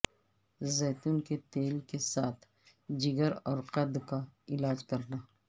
زیتون کے تیل کے ساتھ جگر اور قد کا علاج کرنا